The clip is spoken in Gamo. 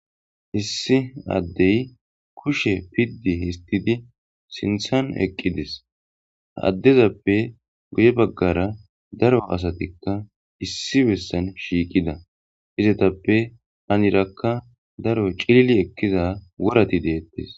Issi addey kushe pidi histid sinththan eqqides addezappe guye bagara daro asatika issi bessan shiqida izetappe heniraka daro cillili ekkiza worati deetes.